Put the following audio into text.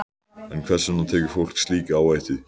En hvers vegna tekur fólk slíka áhættu?